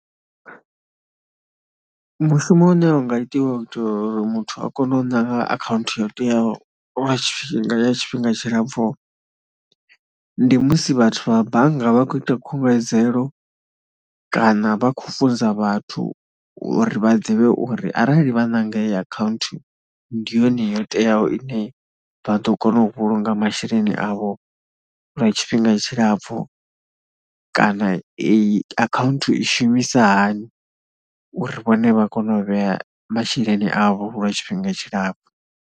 Mushumo une u nga itiwa u itela uri muthu a kone u ṋanga akhaunthu ya u teaho lwa tshifhinga ya tshifhinga tshilapfu ndi musi vhathu vha bannga vha khou ita khunguwedzelo kana vha khou funza vhathu uri vha ḓivhe uri arali vha ṋanga heyi akhaunthu ndi yone yo teaho ine vha ḓo kona u vhulunga masheleni avho lwa tshifhinga tshilapfhu kana eyi akhaunthu i shumisa hani uri vhone vha kone u vhea masheleni avho lwa tshifhinga tshilapfhu.